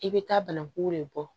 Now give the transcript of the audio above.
I bɛ taa banaku le bɔ